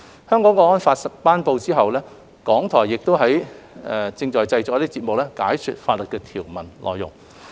《香港國安法》頒布以後，港台亦正在製作節目，解說法例的條文內容。